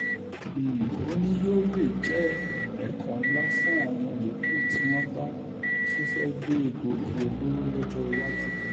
um ó ní yóò lè um jẹ́ ẹ̀kọ́ ńlá fáwọn yòókù tí wọ́n bá tún fẹ́ẹ́ gbé egbòogi olóró lọ́jọ́ iwájú